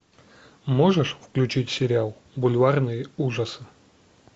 можешь включить сериал бульварные ужасы